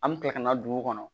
An bɛ kila ka na dugu kɔnɔ